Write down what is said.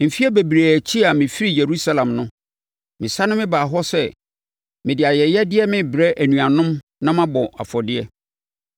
“Mfeɛ bebree akyi a mefirii Yerusalem no, mesane mebaa hɔ sɛ mede ayɛyɛdeɛ rebrɛ me nuanom na mabɔ afɔdeɛ.